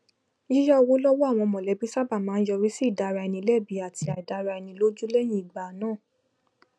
yíyá owó lọwọ àwọn mọlẹbí sábà máa ń yọrí sí ìdára eni lẹbi àtí àìdára ẹni lójú lẹyìn ìgbà náà